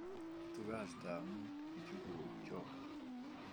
Itu kastamut bichu ko chog